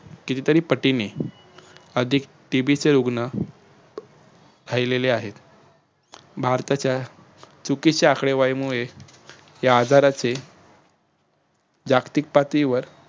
कितीतरी पटीने अधिक TB चे रुग्ण आहेत. भारताच्या चुकीच्या आकडेवारीमुळे या आजाराचे जागतिक पातळीवर